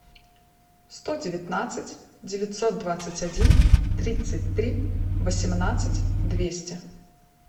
сто девятнадцать девятьсот двадцать один тридцать три восемнадцать двести